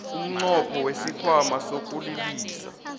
umnqopho wesikhwama sokulilisa